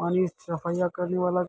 पानी सफ़ाइया कराने वाला